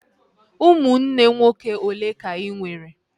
Ụmụnne nwoke olee ka ị nwere?